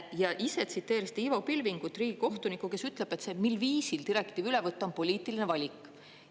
Ja ise tsiteerisite Ivo Pilvingut, riigikohtunikku, kes ütleb, et see, mil viisil direktiiv üle võtta, on poliitiline valik.